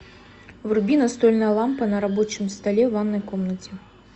вруби настольная лампа на рабочем столе в ванной комнате